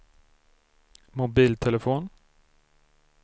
mobiltelefon